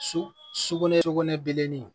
Su sukunɛ sugunɛ bilennin